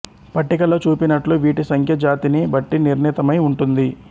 పట్టికలో చూపినట్లు వీటి సంఖ్య జాతిని బట్టి నిర్ణీతమై ఉంటుంది